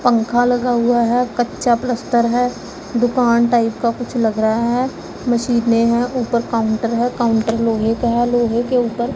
पंखा लगा हुआ है कच्चा प्लास्टर है दुकान टाइप का कुछ लग रहा है मशीनें है ऊपर काउंटर है काउंटर लोहे का है लोहे के ऊपर--